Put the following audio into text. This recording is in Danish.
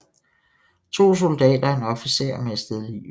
To soldater og en officer mistede livet